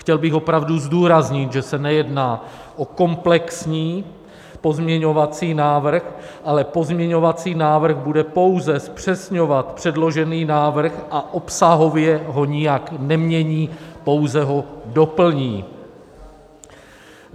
Chtěl bych opravdu zdůraznit, že se nejedná o komplexní pozměňovací návrh, ale pozměňovací návrh bude pouze zpřesňovat předložený návrh a obsahově ho nijak nemění, pouze ho doplní.